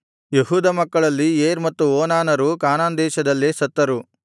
ಯೆಹೂದನ ಮಕ್ಕಳಲ್ಲಿ ಏರ್ ಮತ್ತು ಓನಾನರು ಕಾನಾನ್ ದೇಶದಲ್ಲೇ ಸತ್ತರು